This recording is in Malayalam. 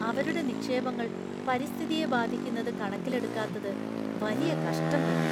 അവരുടെ നിക്ഷേപങ്ങൾ പരിസ്ഥിതിയെ ബാധിക്കുന്നത് കണക്കിലെടുക്കാത്തത് വലിയ കഷ്ടം തന്നെ.